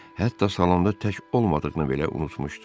Hətta salonda tək olmadığını belə unutmuşdu.